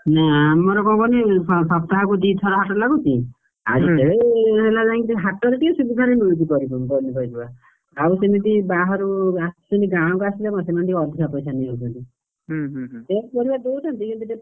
ନାଇଁ ଆମର କଣ କହନି ସପ୍ତାହକୁ ଦିଥର ହାଟ ଲାଗୁଛି, ହୁଁ ଆଉ ଯେତେବେଳେ ହେଲା ଯାଇକି ହାଟ ରେ ଟିକେ ସୁବିଧାରେ ମିଳୁଛି ପନିପରିବା। ଆଉ ସେମିତି ବାହାରୁ ଆସୁଛନ୍ତି, ଗାଁ କୁ ଆସିଲେ ସେମାନେ ଟିକେ ଅଧିକା ପଇସା ନେଇ ଯାଉଛନ୍ତି। same ପରିବାପତ୍ର ଦଉଛନ୍ତି କିନ୍ତୁ ଟିକେ,